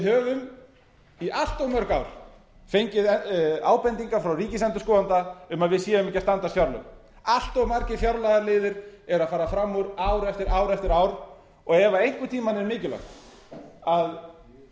höfum í allt of mörg ár fengið ábendingar frá ríkisendurskoðanda um að við séum ekki að standast fjárlögin allt of margir fjárlagaliðir eru að fara fram úr ár eftir ár eftir ár og ef einhvern tímann